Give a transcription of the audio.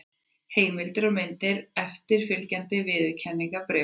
Heimildir og myndir: Eftirfylgjandi viðurkenningarbréf.